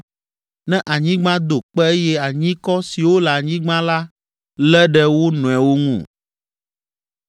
ne anyigba do kpe eye anyikɔ siwo le anyigba la lé ɖe wo nɔewo ŋu?